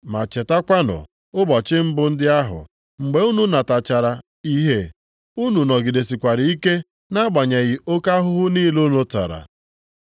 Ma chetakwanụ ụbọchị mbụ ndị ahụ, mgbe unu natachara ìhè, unu nọgidesikwara ike nʼagbanyeghị oke ahụhụ niile unu tara.